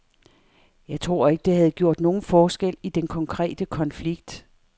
Jeg tror ikke, det havde gjort nogen forskel i den konkrete konflikt.